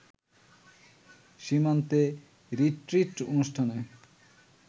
সীমান্তে রিট্রিট অনুষ্ঠানে